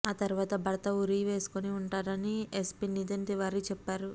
ఆ తర్వాత భర్త ఉరి వేసుకుని ఉంటాడని ఎస్పీ నితిన్ తివారీ చెప్పారు